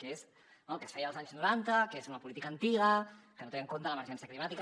que és el que es feia als anys noranta que és una política antiga que no té en compte l’emergència climàtica